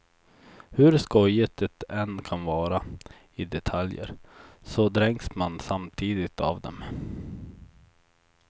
Hur skojigt det än kan vara i detaljer, så dränks man samtidigt av dem.